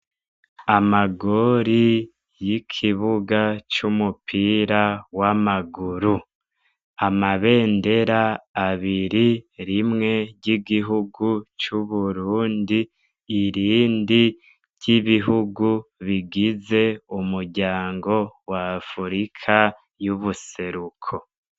Amagori y'ikibuga c'umupira w'amaguru amabendera abiri rimwe ry'igihugu c'uburundi irindi ry'ibihugu bigize umuryango wa afurika y'ubuseluko.